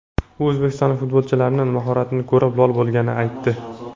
U o‘zbekistonlik futbolchilarning mahoratini ko‘rib, lol bo‘lganini aytdi.